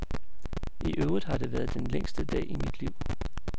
I øvrigt har det været den længste dag i mit liv.